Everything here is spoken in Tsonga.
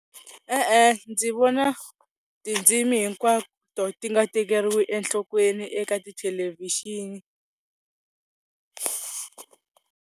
E-e ndzi vona tindzimi hinkwato ti nga tekeriwi enhlokweni eka tithelevhixini.